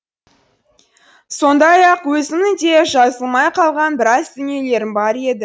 сондай ақ өзімнің де жазылмай қалған біраз дүниелерім бар еді